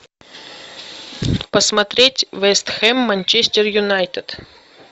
посмотреть вест хэм манчестер юнайтед